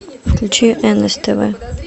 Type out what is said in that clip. включи нств